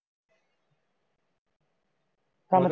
ਕੰਮ ਤੇ .